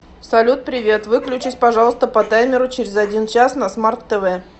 салют привет выключись пожалуйста по таймеру через один час на смарт тв